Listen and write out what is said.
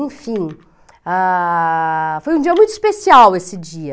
Enfim, ah, foi um dia muito especial esse dia.